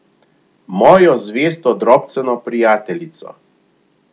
Mojo zvesto drobceno prijateljico.